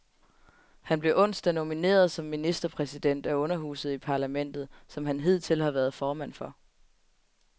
Han blev onsdag nomineret som ministerpræsident af underhuset i parlamentet, som han hidtil har været formand for.